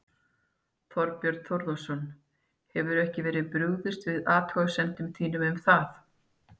Þorbjörn Þórðarson: Hefur ekki verið brugðist við athugasemdum þínum um það?